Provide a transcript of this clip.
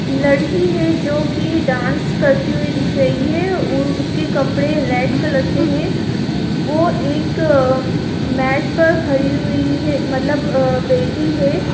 लड़की है जो कि डांस करती हुई दिख रही है उ उसके कपड़े रेड कलर के हैं वो एक मैट पर खड़ी हुई है मतलब आ बैठी है।